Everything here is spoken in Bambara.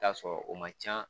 I bi taa sɔrɔ o ma ca